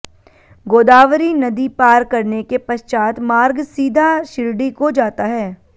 गोदावरी नदी पार करने के पश्चात मार्ग सीधा शिरडी को जाता है